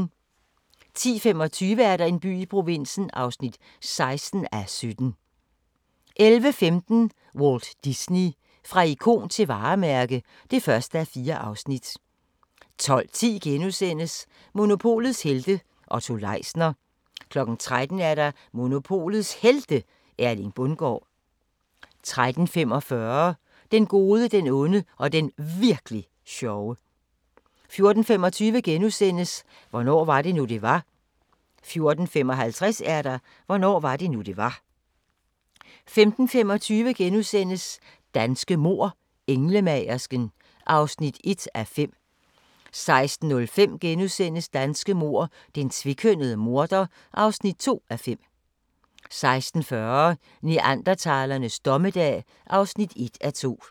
10:25: En by i provinsen (16:17) 11:15: Walt Disney – fra ikon til varemærke (1:4) 12:10: Monopolets helte - Otto Leisner * 13:00: Monopolets Helte – Erling Bundgaard 13:45: Den gode, den onde og den Virk'li sjove 14:25: Hvornår var det nu, det var? * 14:55: Hvornår var det nu det var 15:25: Danske mord: Englemagersken (1:5)* 16:05: Danske mord: Den tvekønnede morder (2:5)* 16:40: Neandertalernes dommedag (1:2)